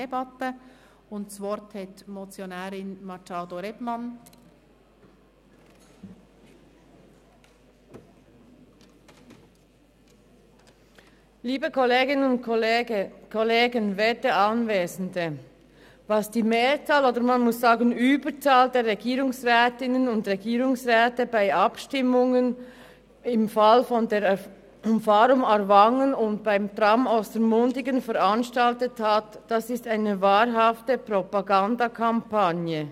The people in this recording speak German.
Was die Mehrzahl – oder man muss sagen die Überzahl – der Regierungsrätinnen und Regierungsräte bei den Abstimmungen zur Umfahrung Aarwangen und zum Tram Ostermundigen veranstaltet hat, ist eine wahrhafte Propagandakampagne.